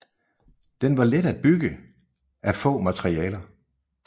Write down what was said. Den var let at bygge af få materialer